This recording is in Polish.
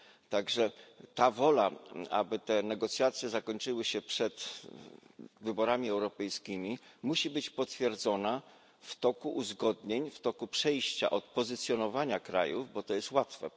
Tak że ta wola, aby te negocjacje zakończyły się przed wyborami europejskimi, musi być potwierdzona w toku uzgodnień, w toku przejścia od pozycjonowania krajów bo to jest łatwe